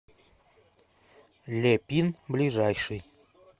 ле пин ближайший